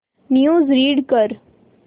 news read कर